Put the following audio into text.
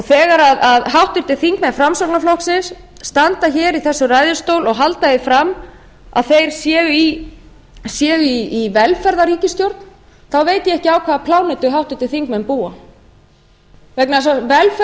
þegar háttvirtir þingmenn framsóknarflokksins standa hér í þessum ræðustóli og halda því fram að þeir séu í velferðarríkisstjórn þá veit ég ekki á hvaða plánetu háttvirtir þingmenn búa vegna